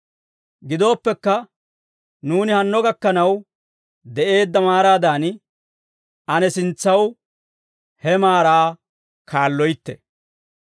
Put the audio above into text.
Gidooppekka, nuuni hanno gakkanaw de'eedda maaraadan, ane sintsaw he maaraa kaalloytte.